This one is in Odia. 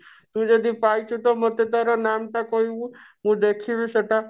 ତୁ ଯଦି ପାଇଛୁ ତ ମତେ ତାର ନାମ୍ ଟା କହିବୁ ମୁଁ ଦେଖିବି ସେଟା